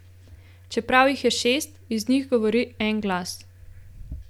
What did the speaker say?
Čeprav jih je šest, iz njih govori en glas.